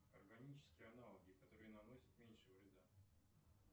органические аналоги которые наносят меньше вреда